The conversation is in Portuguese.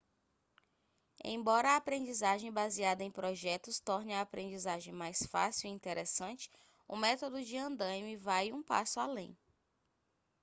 embora a aprendizagem baseada em projetos torne a aprendizagem mais fácil e interessante o método de andaime vai um passo além